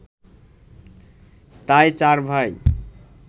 তাই চার ভাই